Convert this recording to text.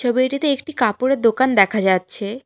ছবিটিতে একটি কাপড়ের দোকান দেখা যাচ্ছে।